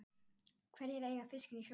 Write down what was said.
Hverjir eiga fiskinn í sjónum?